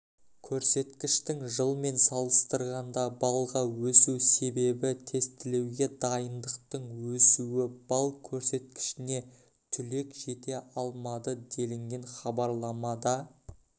көрсеткіштің жылмен салыстырғанда баллға өсу себебі тестілеуге дайындықтың өсуі балл көрсеткішіне түлек жете алмады делінген хабарламада